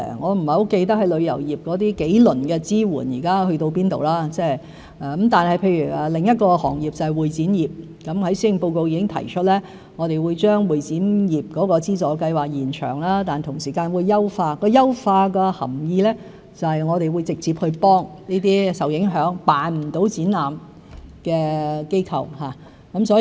我不是很記得旅遊業的數輪支援去到甚麼階段，但譬如另一行業，就是會展業，我在施政報告已經提出，我們會將會展業的資助計劃延長，同時會優化計劃，優化的含義就是我們會直接去幫助這些受影響、無法舉辦展覽的機構。